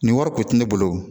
Nin wari kun tɛ ne bolo